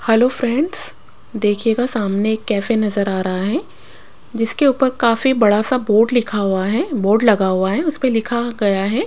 Hello friends देखिएगा सामने एक कैफे नज़र आ रहा है जिसके ऊपर काफी बड़ा सा बोर्ड लिखा हुआ है बोर्ड लगा हुआ है उस पे लिखा गया है। --